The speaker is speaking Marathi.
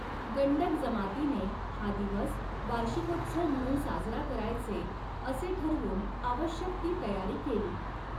गण्डक जमातीने हा दिवस वार्षिकोत्सव म्हणून साजरा करायचे असे ठरवून आवश्यक ती तयारी केली.